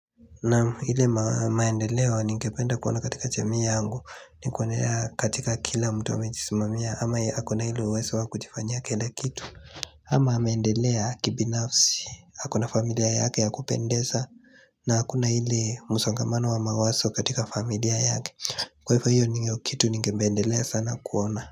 Naam ile maendeleo ningependa kuona katika jamii yangu ni kuendelea katika kila mtu amechisimamia ama ako na ile uweso wa kuchifanya kila kitu ama ameendelea kibinafsi ako na familia yake ya kupendesa na hakuna ile msongamano wa mawaso katika familia yake Kwa hifo hiyo nidiyo kitu ningependelea sana kuona.